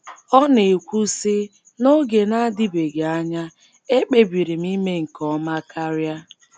Ọ na - ekwu, sị: N’oge na - adịbeghị anya, ekpebiri m ime nke ọma karịa.